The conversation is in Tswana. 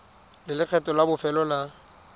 le lekgetho la bofelo la